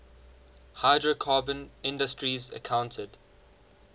hydrocarbon industries accounted